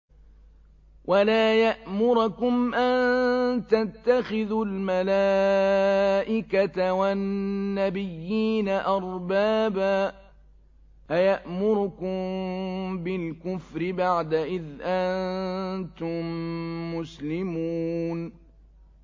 وَلَا يَأْمُرَكُمْ أَن تَتَّخِذُوا الْمَلَائِكَةَ وَالنَّبِيِّينَ أَرْبَابًا ۗ أَيَأْمُرُكُم بِالْكُفْرِ بَعْدَ إِذْ أَنتُم مُّسْلِمُونَ